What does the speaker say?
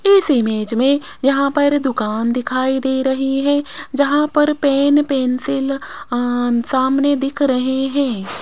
इस इमेज में यहां पर दुकान दिखाई दे रही है जहां पर पेन पेंसिल अ सामने दिख रहे हैं।